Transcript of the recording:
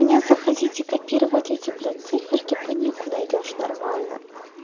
мне заходить и копировать эти блядь циферки панику найдёшь нормально